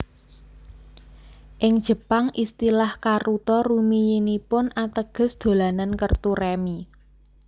Ing Jepang istilah karuta rumiyinipun ateges dolanan kertu rèmi